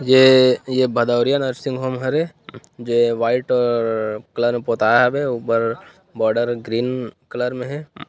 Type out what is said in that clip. ये ये Badoriya nursing home हरे जे वाइट कलर म पोताए हवे अउ ऊपर बॉर्डर ह ग्रीन कलर म हे।